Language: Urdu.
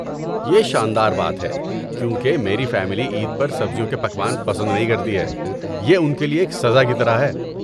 یہ شان دار بات ہے، کیونکہ میری فیملی عید پر سبزیوں کے پکوان پسند نہیں کرتی ہے۔ یہ ان کے لئے ایک سزا کی طرح ہے۔